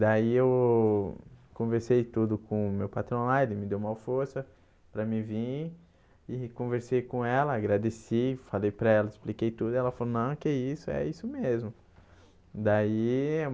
Daí eu conversei tudo com meu patrão lá e ele me deu uma força para mim vir e conversei com ela, agradeci, falei para ela, expliquei tudo e ela falou, não, que isso, é isso mesmo daí.